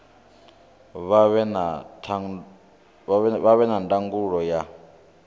vha vhe na ndangulo ya